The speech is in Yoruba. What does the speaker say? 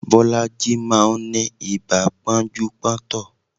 Bolaji máa ń ní ibà pọ́njú pọ́ntọ̀